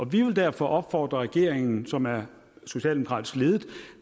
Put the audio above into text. vi vil derfor opfordre regeringen som er socialdemokratisk ledet